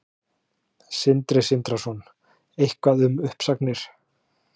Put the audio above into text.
Sindri Sindrason: Eitthvað um uppsagnir?